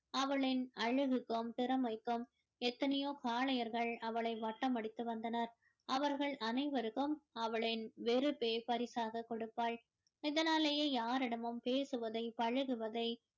அவளின் அழகிற்கும் திறமைக்கும் எத்தனையோ காளையர்கள் அவளை வட்டமடித்து வந்தனர் அவர்கள் அனைவருக்கும் அவளின் வெறுப்பே பரிசாக கொடுப்பாள் இதனாலேயே யாரிடமும் பேசுவதை பழகுவதை